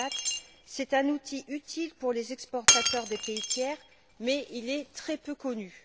2004. C'est un outil utile pour les exportateurs des pays tiers, mais il est très peu connu.